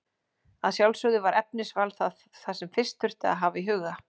Að sjálfsögðu var efnisval það sem fyrst þurfti að hafa í huga.